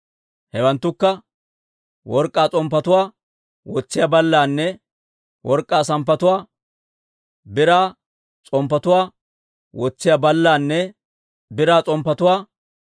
Hewanttukka, work'k'aa s'omppetuwaa wotsiyaa ballaanne work'k'aa s'omppetuwaa, biraa s'omppetuwaa wotsiyaa ballaanne biraa s'omppetuwaa,